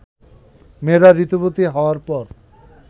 মেয়েরা ঋতুবতী হওয়ার পর